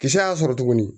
Kisɛ y'a sɔrɔ tuguni